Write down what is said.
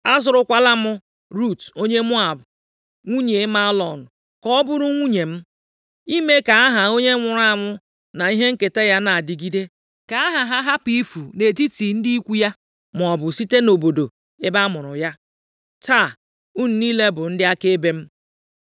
Azụrụkwala m Rut onye Moab, nwunye Mahlọn ka ọ bụrụ nwunye m, ime ka aha onye nwụrụ anwụ na ihe nketa ya na-adịgide, ka aha ha hapụ ifu nʼetiti ndị ikwu ya maọbụ site nʼobodo ebe amụrụ ya. Taa unu niile bụ ndị akaebe m.”